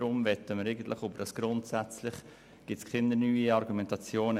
Zum Begriff «grundsätzlich» gibt es keine neue Argumentation.